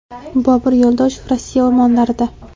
Bobur Yo‘ldoshev Rossiya o‘rmonlarida.